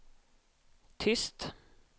tyst